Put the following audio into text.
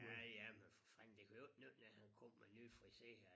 Ja ja men for fanden det kunne jo ikke nytte noget han kom men nyfriseret